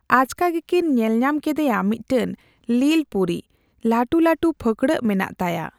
ᱟᱪᱠᱟ ᱜᱮ ᱠᱤᱱ ᱧᱮᱞ ᱧᱟᱢ ᱠᱮᱫᱮᱭᱟ ᱢᱤᱫᱴᱮᱱ ᱞᱤᱞ ᱯᱩᱨᱤ ᱾ ᱞᱟ ᱴᱩᱞᱟ ᱴᱩ ᱯᱷᱟᱹᱠ ᱲᱟᱹᱜ ᱢᱮᱱᱟᱜ ᱛᱟᱭᱟ ᱾